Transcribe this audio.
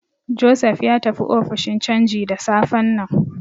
Joseph ya tafi ofishin canji da safen nan.